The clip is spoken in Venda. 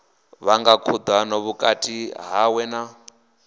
vhanga khudano vhukati hawe na